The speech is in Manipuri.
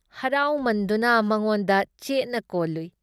ꯍꯔꯥꯎꯃꯟꯗꯨꯅ ꯃꯉꯣꯟꯗ ꯆꯦꯠꯅ ꯀꯣꯜꯂꯨꯏ ꯫